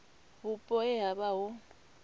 vhupo he ha vha hu